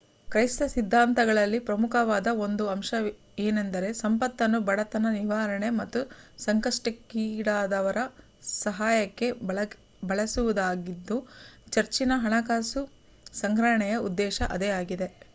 ಕ್ರೈಸ್ತ ಸಿದ್ಧಾಂತಗಳಲ್ಲಿ ಪ್ರಮುಖವಾದ ಒಂದು ಅಂಶ ಏನೆಂದರೆ ಸಂಪತ್ತನ್ನು ಬಡತನ ನಿವಾರಣೆ ಮತ್ತು ಸಂಕಷ್ಟಕ್ಕೀ ಡಾದವರ ಸಹಾಯಕ್ಕೆ ಬಳಸುವುದಾಗಿದ್ದು ಚರ್ಚಿನ ಹಣಕಾಸು ಸಂಗ್ರಹಣೆಯ ಉದ್ದೇಶ ಅದೇ ಆಗಿದೆ